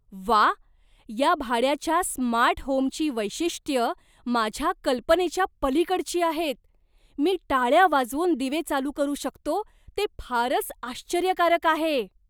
व्वा, या भाड्याच्या स्मार्ट होमची वैशिष्ट्यं माझ्या कल्पनेच्या पलीकडची आहेत. मी टाळ्या वाजवून दिवे चालू करू शकतो ते फारच आश्चर्यकारक आहे!